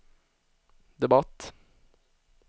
debatt